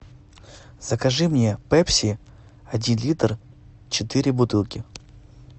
закажи мне пепси один литр четыре бутылки